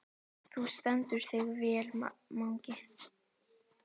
Þú stendur þig vel, Mangi!